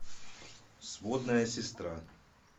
сводная сестра